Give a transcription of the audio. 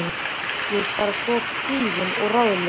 Ég er bara svona kvíðin og ráðalaus.